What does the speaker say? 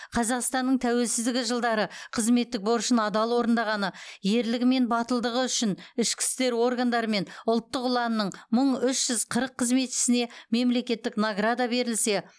қазақстанның тәуелсіздігі жылдары қызметтік борышын адал орындағаны ерлігі мен батылдығы үшін ішкі істер органдары мен ұлттық ұланның мың үш жүз қырық қызметшісіне мемлекеттік награда берілсе